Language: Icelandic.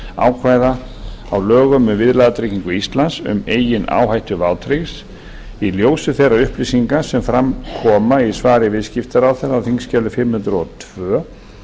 ákvæða á lögum um viðlagatryggingu íslands um eigin áhættu vátryggðs í ljósi þeirra upplýsinga sem fram koma í svari viðskiptaráðherra á þingskjali fimm hundruð og tvö